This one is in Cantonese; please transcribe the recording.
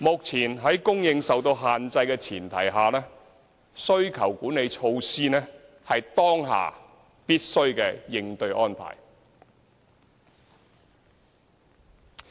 在供應受到限制的前提下，需求管理措施是當下必須的應對安排。